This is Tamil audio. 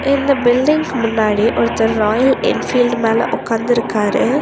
இந்த பில்டிங்க்கு முன்னாடி ஒருத்தர் ராயல் என்ஃபீல்டு மேல ஒக்காந்துருக்காரு.